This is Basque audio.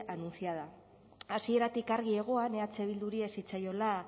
anunciada hasieratik argi egoan eh bilduri ez zitzaiola